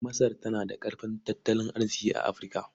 Masar tana da ƙarfin tattalin arziƙi a Afirka.